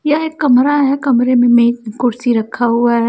यहाँ एक कमरा है कमरे मे मेज कुर्सी रखा हुआ है।